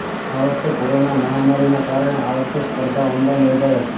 આ વખતે કોરોના મહામારીના કારણે આ વખતે સ્પર્ધા ઓનલાઈન યોજાઇ હતી